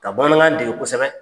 Ka bamanankan dege kosɛbɛ.